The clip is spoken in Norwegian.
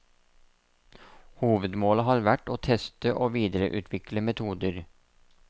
Hovedmålet har vært å teste og videreutvikle metoder.